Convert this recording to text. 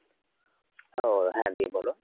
ও হ্যাঁ দিয়ে বল?